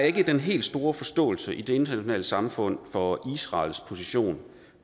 ikke er den helt store forståelse i det internationale samfund for israels position